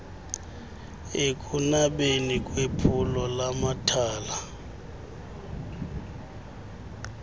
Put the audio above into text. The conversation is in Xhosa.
ekunabeni kwephulo lamathala